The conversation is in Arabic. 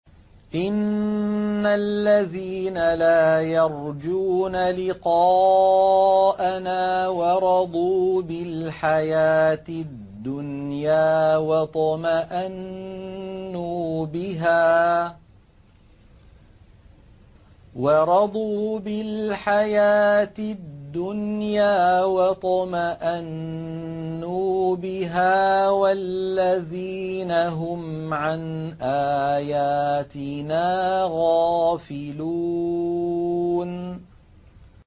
إِنَّ الَّذِينَ لَا يَرْجُونَ لِقَاءَنَا وَرَضُوا بِالْحَيَاةِ الدُّنْيَا وَاطْمَأَنُّوا بِهَا وَالَّذِينَ هُمْ عَنْ آيَاتِنَا غَافِلُونَ